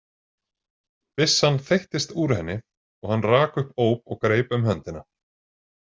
Byssan þeyttist úr henni og hann rak upp óp og greip um höndina.